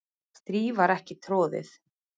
strý var ekki troðið